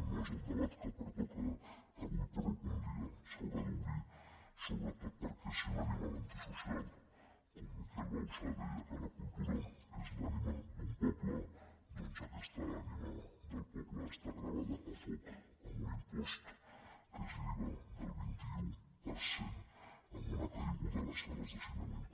no és el debat que pertoca avui però algun dia s’haurà d’obrir sobretot perquè si un animal antisocial com miquel bauçà deia que la cultura és l’ànima d’un poble doncs aquesta ànima del poble està gravada a foc amb un impost que és l’iva del vint un per cent amb una caiguda a les sales de cinema